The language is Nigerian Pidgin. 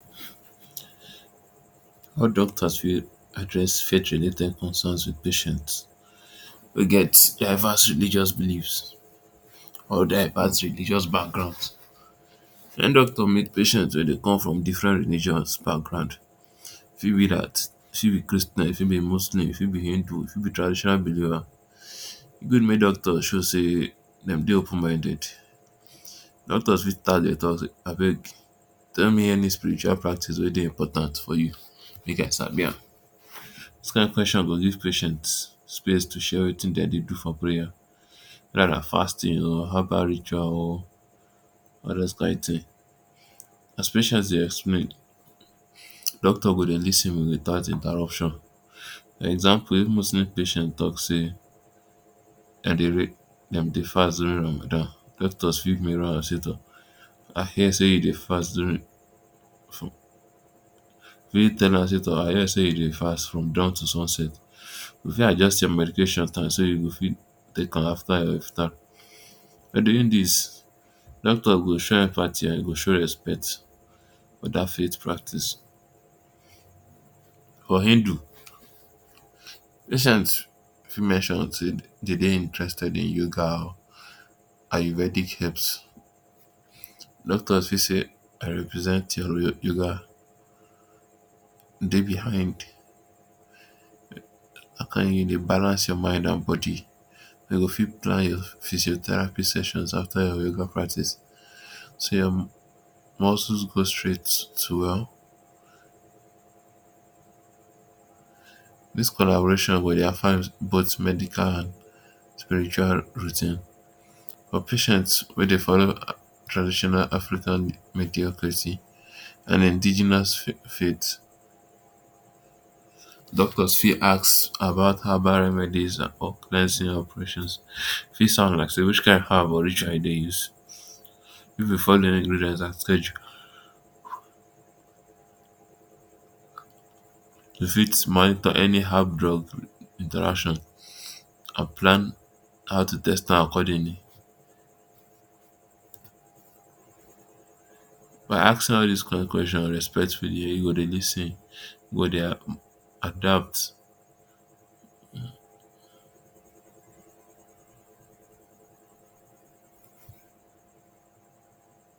All doctors fit address fate related concerns with patients wey get divers religious beliefs or divers religious backgrounds. Wen doctor meet patient wey dey come from different religious background e fit be dat e fit be Christian e fit be Muslim e fit be Hindu e fit be traditional believer e good make doctor show sey dem Dey open minded doctors fit start Dey talk say abeg tell me any spiritual practice wey Dey important for you make I sabi am this kind question go give patient space to share wetin dem Dey do for prayer wether na fasting or herbal ritual 0r all dose kin tin as patients Dey explain doctor go Dey lis ten without interruption example if Muslim patient talk say Dem dey dem dey fast during Ramadan doctors fit mirror am say tor I hear say you Dey fast from dawn to sunset we fit adjust your medications time so you go fit take am after your iftar by doing this doctor go show empathy and im for show respect for that faith practice for Hindu patients fit mention sey Dem Dey interested in yoga or Ayurvedic herbs doctors fit say Dey behind (um)to balance your mind and body dem go fit plan your physiotherapy session after your yoga practice so your muscles go straight well um this collaboration go Dey both medical and spiritual routine but patients wey Dey follow traditional African mediocracy and indigenous fate um doctors fit ask about herbal remedies and organizing operations e fit sound like say wich kin herb or ritual you Dey use if im follow ingredient at schedule um e fit monitor any herb drug interaction and plan how to test am accordingly by asking all dis kin questions respectfully im go Dey lis ten im go Dey adapt.